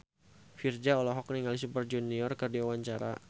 Virzha olohok ningali Super Junior keur diwawancara